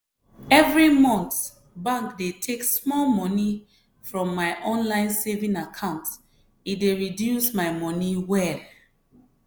every month bank dey take small money from my online saving account e dey reduce my money well.